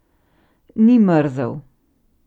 Ni mrzel.